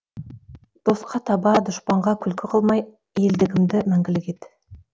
досқа таба дұшпанға күлкі қылмай елдігімді мәңгілік ет